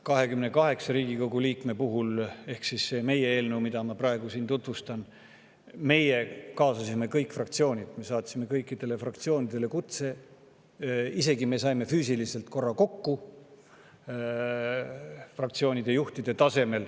28 Riigikogu liikme ehk selle meie eelnõu puhul, mida ma praegu siin tutvustan, me kaasasime kõiki fraktsioone, saatsime kõikidele fraktsioonidele kutse ja fraktsioonide juhid said isegi füüsiliselt korra kokku.